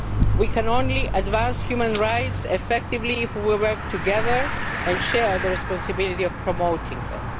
We can only advance human rights effectively if we work together and share the responsibility of promoting